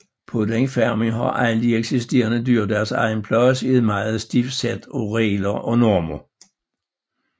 På den farm har alle de eksisterende dyr deres egen plads i et meget stift sæt af regler og normer